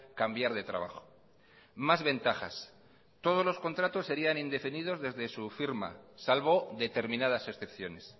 cambiar de trabajo más ventajas todos los contratos serían indefinidos desde su firma salvo determinadas excepciones